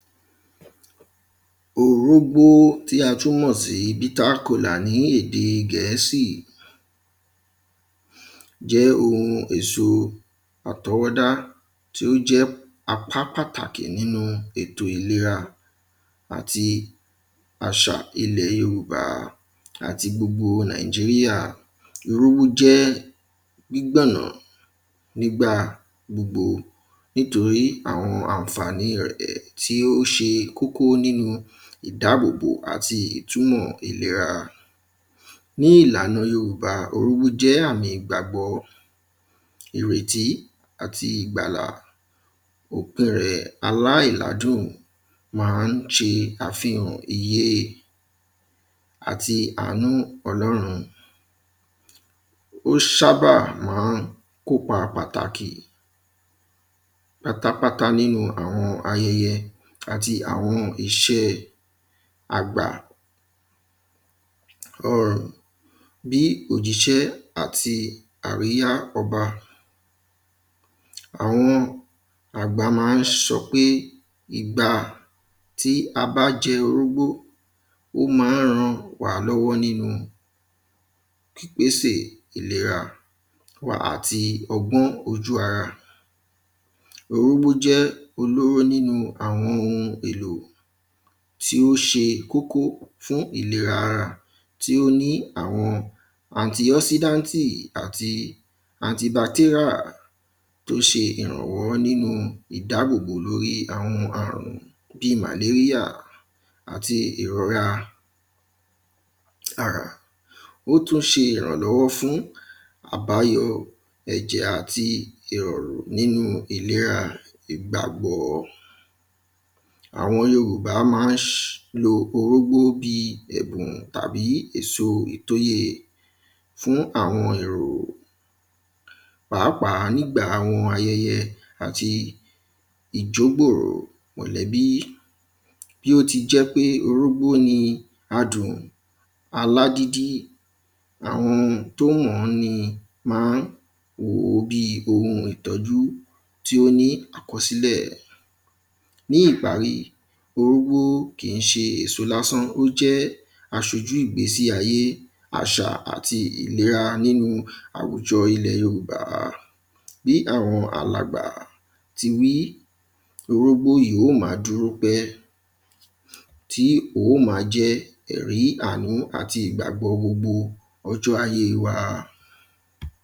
Orógbó tí a tún mọ̀ sí bittercola ní èdè gẹ̀ẹ́sì jẹ́ ohun èso àtọwọ́ dá tí ó jẹ́ apá pàtàkì nínú ètò ìlera àti àṣà ilẹ̀ yorùbá àti gbogbo nàíjíríà. Orógbó jẹ́ gbígbọ̀nà gbígba gbogbo nítorí àwọn ànfàní rẹ̀ tí ó ṣe kókó nínú ìdábòbò àti ìtúnmọ̀ ìlera. Ní ìlànà yorùbá orógbó jẹ́ àmì ìgbàgbọ́ ìrètí àti ìgbàlà ò kẹ̀rẹ̀ aláìládùn má ń ṣe àfihàn iye àti àánú ọlọ́run. Ó ṣábà má ń kópa pàtàkì pátápátá nínú àwọn ayẹyẹ àti àwọn iṣẹ́ àgbà um bí òjíṣẹ́ àti àríyá ọba àwọn àgbà má ń sọ pé igba tí a bá jẹ orógbó ó má ń ràn wá lọ́wọ́ nínú ìgbésè ìlera wàá ti ọgbọ́n ojú ara. Orógbó jẹ́ olóró nínú àwọn ohun èlò tí ó ṣe kókó fún ìleɹa ara tí ó ní àwọn antioxidanti àti antibacteria tó ṣe ìrànwọ́ lórí ìdábòbò àwọn àrùn bí malaria àti ìròra ah ó tún ṣe ìrànlọ́wọ́ fún àbáyọ ẹ̀jẹ̀ àti ìrọ̀rùn nínú ìlera ìgbàgbọ́. Àwọn yorùbá má ń lo orógbó bí ẹ̀bùn tàbí èso ìtóye fún àwọn èrò pàápàá nígbà àwọn ayẹyẹ àti ìjógbòrò mọ̀lẹ́bí bí ó ti jẹ́ wípé orógbó ni adùn alágídí àwọn tó mọ́ ni má ń wòó bí ohun ìtọ́jú tí ó ní àkọsílẹ̀. Ní ìparí orógbó kìí ṣe èso lásán ó jẹ́ aṣojú ìgbésí ayé àṣà àti ìlera nínú àwùjọ ilẹ̀ yorùbá bí àwọn alàgbà ti wí orógbó yìí yó má dúró pẹ́ tí ó má jẹ́ ẹ̀rí àánú àti ìgbàgbọ́ gbogbo ọjọ́ ajé wa.